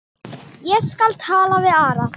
Ég skal taka við Ara.